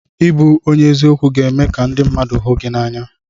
Ịbụ onye eziokwu ga-eme ka ndị mmadụ hụ gị n'anya.